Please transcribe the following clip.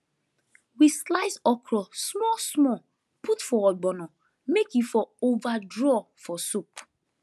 we slice okro small small put for ogbono may e for over draw for soup